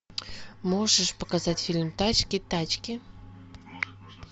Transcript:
можешь показать фильм тачки тачки